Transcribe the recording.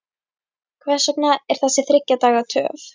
Hvers vegna er þessi þriggja daga töf?